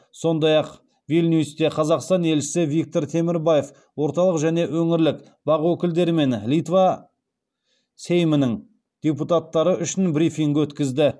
сондай ақ вильнюсте қазақстан елшісі виктор темірбаев орталық және өңірлік бақ өкілдері мен литва сеймінің депутаттары үшін брифинг өткізді